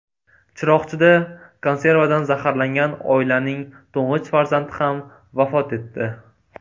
Chiroqchida konservadan zaharlangan oilaning to‘ng‘ich farzandi ham vafot etdi.